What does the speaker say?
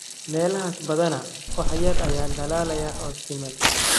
Meelahaas badanaa wax yar ayaa dhalaalaya oo siman.